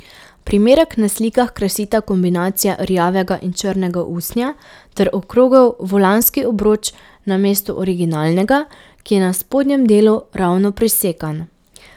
Primerek na slikah krasita kombinacija rjavega in črnega usnja ter okrogel volanski obroč namesto originalnega, ki je na spodnjem delu ravno prisekan.